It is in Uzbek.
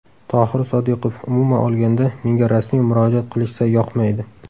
Tohir Sodiqov: Umuman olganda, menga rasmiy murojaat qilishsa yoqmaydi.